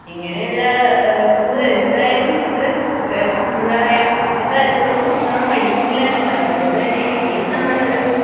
ഇങ്ങനെയുള്ള ആ കൂടുതൽ എന്തായാലും എത്രക് എ എന്തപ്പറയ ഇത്രയും അനുഭവിച്ചിട്ടും നമ്മൾ പഠിക്കുന്നില്ലന്നുള്ളതാണ് അതുകൊണ്ടുതന്നെ നമ്മളൊരു